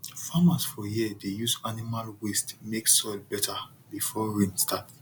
farmers for here dey use animal waste make soil better before rain start